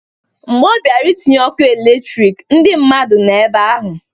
Mgbe ọ bịara itinye ọkụ elektrik, ndị mmadụ nọ ebe ahụ.